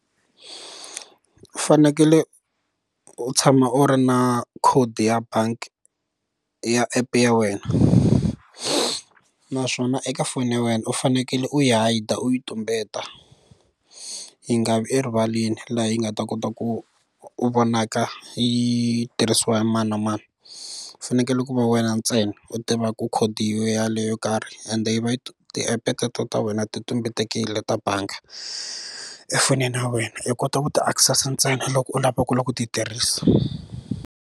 U fanekele u tshama u ri na code ya bangi ya app ya wena naswona eka foni ya wena u fanekele u yi hide u yi tumbeta yi nga vi erivaleni laha yi nga ta kota ku u vonaka yi tirhisiwa hi mani na mani u fanekele ku va wena ntsena u tivaku khodi yin'we yaleyo yo karhi ende yi va yi ti app teto ta wena ti tumbetekile ta bangi efonini ya wena yi kota ku ti access ntsena loko u lava ku ti tirhisa.